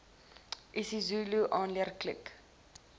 isizulu aanleer klik